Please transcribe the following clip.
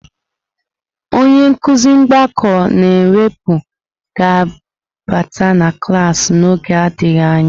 Onye nkuzi mgbakọ na mwepụ ga-abata na klaasị n'oge adịghị anya.